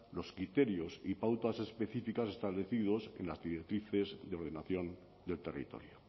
los criterios y pautas específicas establecidos en las directrices de ordenación del territorio